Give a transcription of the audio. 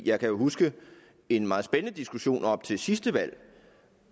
jeg kan jo huske en meget spændende diskussion op til sidste valg